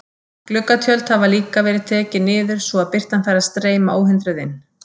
Gluggatjöld hafa líka verið tekin niður, svo að birtan fær að streyma óhindruð inn.